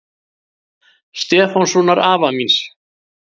Stefánssonar afa míns.